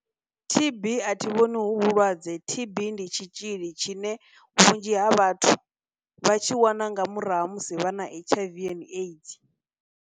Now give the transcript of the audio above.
T_B a thi vhoni hu vhulwadze, T_B ndi tshitzhili tshine vhunzhi ha vhathu vha tshi wana nga murahu ha musi vha na H_I_V and AIDS.